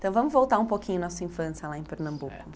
Então vamos voltar um pouquinho nossa infância lá em Pernambuco.